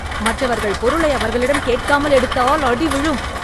மற்றவர்கள் பொருளை அவர்களிடம் கேட்காமல் எடுத்தால் அடி விழும்